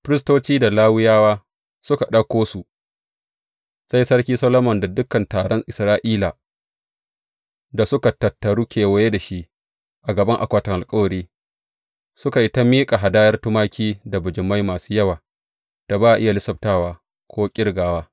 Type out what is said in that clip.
Firistoci da Lawiyawa suka ɗauko su, sai Sarki Solomon da dukan taron Isra’ila da suka tattaru kewaye da shi a gaban akwatin alkawari, suka yi ta miƙa hadayar tumaki da bijimai masu yawa da ba a iya lissaftawa, ko ƙirgawa.